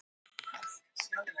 Þannig skyldi nú þreyja þorrann.